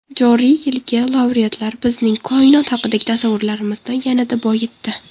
Joriy yilgi laureatlar bizning koinot haqidagi tasavvurlarimizni yanada boyitdi.